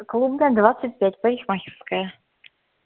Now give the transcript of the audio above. клубная двадцать пять парикмахерская